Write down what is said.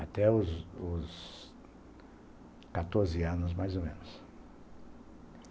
Até os os quatorze anos, mais ou menos.